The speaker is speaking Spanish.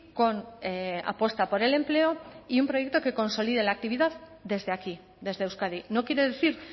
con apuesta por el empleo y un proyecto que consolide la actividad desde aquí desde euskadi no quiere decir